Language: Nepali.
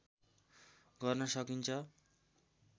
गर्न साकिन्छ